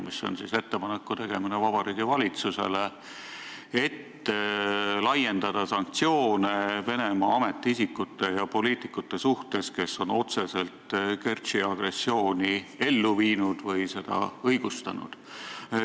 See on siis ettepanek Vabariigi Valitsusele, et laiendada sanktsioone Venemaa ametiisikute ja poliitikute suhtes, kes on otseselt Kertši agressiooni ellu viinud või seda õigustanud.